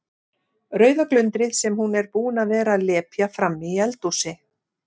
Rauða glundrið sem hún er búin að vera að lepja frammi í eldhúsi.